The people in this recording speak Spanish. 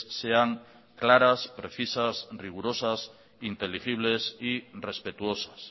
sean claras precisas rigurosas inteligibles y respetuosas